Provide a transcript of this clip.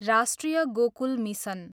राष्ट्रिय गोकुल मिसन